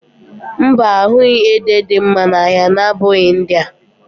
Mba, a ahụghị ede dị mma n'ahịa na-abụghị ndị a